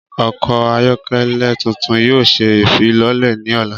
Ọkọ ayọkẹlẹ tuntun yoo ṣe ifilọlẹ ni ọla.